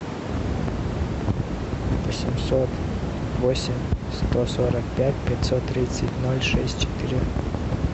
восемьсот восемь сто сорок пять пятьсот тридцать ноль шесть четыре